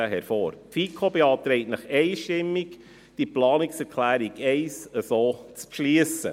Die FiKo beantragt Ihnen einstimmig, die Planungserklärung 1 so zu beschliessen.